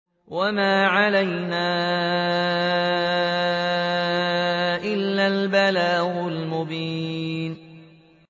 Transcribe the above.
وَمَا عَلَيْنَا إِلَّا الْبَلَاغُ الْمُبِينُ